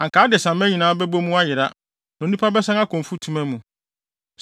anka adesamma nyinaa bɛbɔ mu ayera, na onipa bɛsan akɔ mfutuma mu.